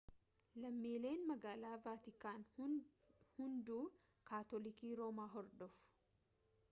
lammiileen magaalaa vaatikaan hunduu kaatolikii roomaa hordofu